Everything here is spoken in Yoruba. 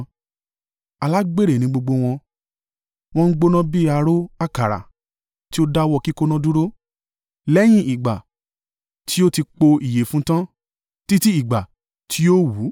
Alágbèrè ni gbogbo wọn wọ́n gbóná bí ààrò àkàrà tí a dáwọ́ kíkoná dúró, lẹ́yìn ìgbà tí o ti pò ìyẹ̀fun tán, títí ìgbà tí yóò wú.